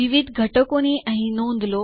વિવિધ ઘટકો અહીં નોંધ